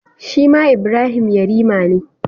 Shi ma Ibrahim yarima ne.